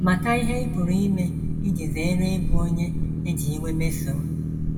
Mata ihe ị pụrụ ime iji zere ịbụ onye e ji iwe mesoo.